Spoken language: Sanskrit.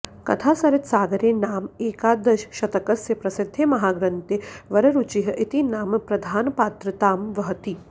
कथासरित्सागरे नाम एकादशशतकस्य प्रसिद्धे महाग्रन्थे वररुचिः इति नाम प्रधानपात्रतां वहति